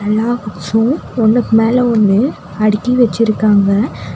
எல்லா புக்ஸும் ஒன்னுக்கு மேல ஒன்னு அடுக்கி வெச்சிருக்காங்க.